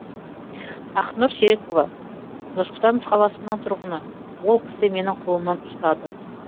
ақнұр серікова нұр сұлтан қаласының тұрғыны ол кісі менің қолымнан ұстады